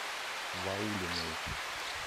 ваулиной